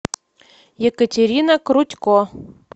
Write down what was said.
екатерина крутько